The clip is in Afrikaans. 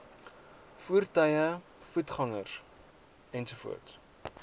voertuie voetgangers ens